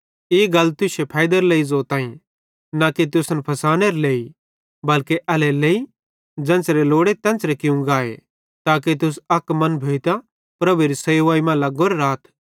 ई गल तुश्शे फैइदेरे लेइ ज़ोताईं न कि तुसन फसानेरे लेइ बल्के एल्हेरेलेइ ज़ेन्च़रे लोड़े तेन्च़रे कियूं गाए ताके तुस अक मन भोइतां प्रभुएरी सेवाई मां लोगोरे राथ